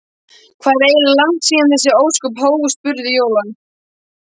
Hvað er eiginlega langt síðan þessi ósköp hófust? spurði Jóra.